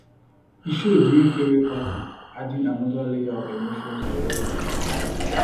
he show during farewell party adding another layer of emotion to everything